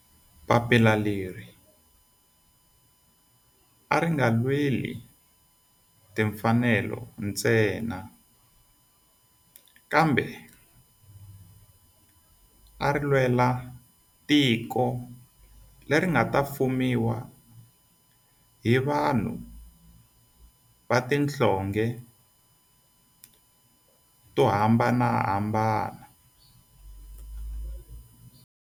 Papila leri a ri nga lweli timfanelo ntsena kambe ari lwela tiko leri nga ta fumiwa hi vanhu va tihlonge to hambanahambana.